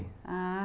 Ah,